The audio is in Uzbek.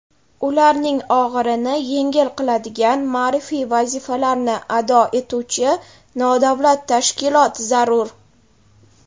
ularning og‘irini yengil qiladigan ma’rifiy vazifalarni ado etuvchi nodavlat tashkilot zarur.